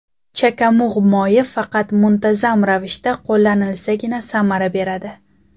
Chakamug‘ moyi faqat muntazam ravishda qo‘llanilsagina samara beradi.